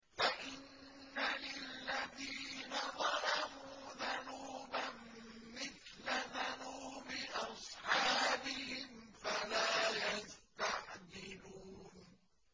فَإِنَّ لِلَّذِينَ ظَلَمُوا ذَنُوبًا مِّثْلَ ذَنُوبِ أَصْحَابِهِمْ فَلَا يَسْتَعْجِلُونِ